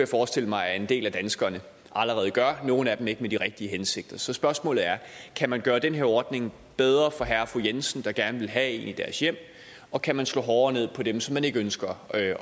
forestille mig at en del af danskerne allerede gør og nogle af dem ikke med de rigtige hensigter så spørgsmålene er kan man gøre den her ordning bedre for herre og fru jensen der gerne vil have en i deres hjem og kan man slå hårdere ned på dem som man ikke ønsker